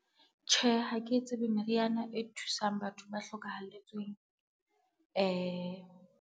Tjhe, ha ke tsebe meriana e thusang batho ba hlokahalletsweng .